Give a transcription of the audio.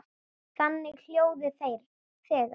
þunnu hljóði þegir